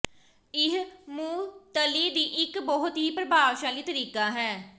ਇਹ ਮੁਅੱਤਲੀ ਦੀ ਇੱਕ ਬਹੁਤ ਹੀ ਪ੍ਰਭਾਵਸ਼ਾਲੀ ਤਰੀਕਾ ਹੈ